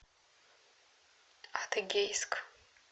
адыгейск